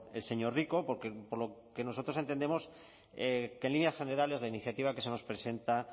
el señor rico porque por lo que nosotros entendemos que en líneas generales la iniciativa que se nos presenta